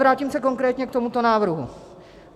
Vrátím se konkrétně k tomuto návrhu.